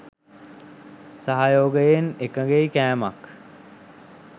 සහයෝගයෙන් එකගෙයි කෑමක්